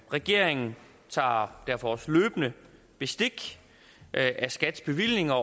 regeringen tager derfor også løbende bestik af skats bevillinger